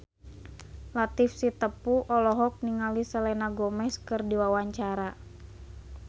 Latief Sitepu olohok ningali Selena Gomez keur diwawancara